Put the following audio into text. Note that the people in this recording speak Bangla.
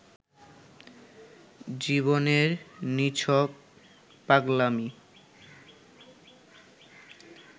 জীবনের নিছক পাগলামী